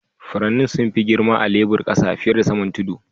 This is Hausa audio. Furannin sun fi girma a'lebur kasa fiyar da saman tudu.